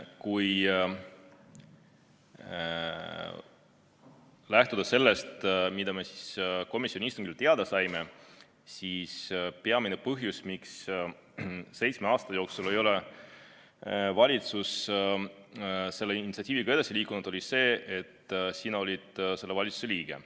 Kui lähtuda sellest, mida me komisjoni istungil teada saime, siis peamine põhjus, miks seitsme aasta jooksul ei ole valitsus selle initsiatiiviga edasi liikunud, oli see, et sina olid selle valitsuse liige.